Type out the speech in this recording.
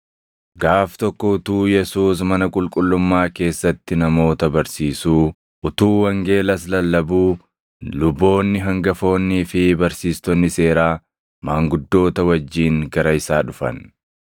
Gaaf tokko utuu Yesuus mana qulqullummaa keessatti namoota barsiisuu, utuu wangeelas lallabuu luboonni hangafoonnii fi barsiistonni seeraa maanguddoota wajjin gara isaa dhufan.